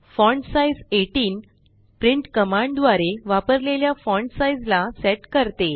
font size 18 print command द्वारे वापरलेल्या font size ला सेट करते